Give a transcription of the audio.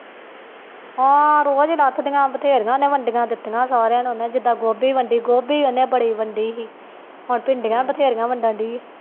ਹਾਂ ਰੋਜ਼ ਲੱਥਦੀਆ ਬਥੇਰੀਆਂ ਉਹਨੇ ਵੰਡੀਆਂ ਦਿਤੀਆਂ ਸਾਰੀਆਂ ਨੂੰ ਉਹਨੇ ਜਿਦਾ ਗੋਭੀ ਵੰਡੀ ਗੋਭੀ ਬੜੀ ਵੰਡੀ ਹੀ ਉਹਨੇ ਹੁਣ ਭਿੰਡੀਆਂ ਬਥੇਰੀਆਂ ਵੰਡਣ ਦਈ